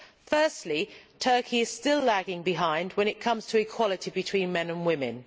Firstly, Turkey is still lagging behind when it comes to equality between men and women.